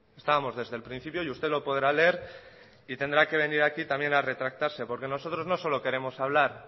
estábamos desde el principio y usted lo podrá leer y tendrá que venir aquí también a retractarse porque nosotros no solo queremos hablar